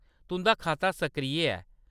तुंʼदा खाता सक्रिय ऐ।